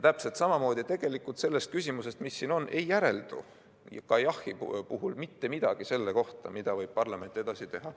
Täpselt samamoodi ei järeldu sellest küsimusest, mis siin on, ka jah‑vastuse puhul mitte midagi selle kohta, mida võib parlament edasi teha.